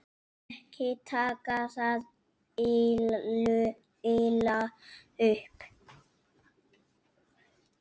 Ekki taka það illa upp.